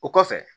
O kɔfɛ